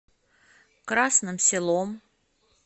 красным селом